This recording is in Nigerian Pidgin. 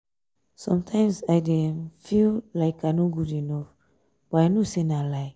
sometimes i dey um feal um like i no good enough but i know sey na lie.